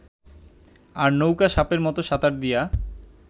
আর নৌকা সাপের মত সাঁতার দিয়া